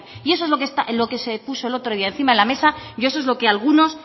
y eso es lo que se puso el otro día encima de la mesa y eso es lo que algunos